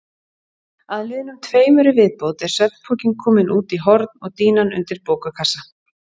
Að liðnum tveimur í viðbót er svefnpokinn kominn út í horn og dýnan undir bókakassa.